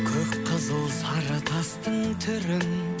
көк қызыл сары тастың түрін